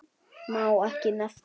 Má ekki nefna